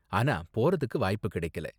ஆனால் போறதுக்கு வாய்ப்பு கிடைக்கல.